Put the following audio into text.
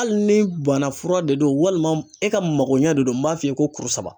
Hali ni bana fura de don walima e ka mago ɲɛ don m'a f'i ye ko kuru saba.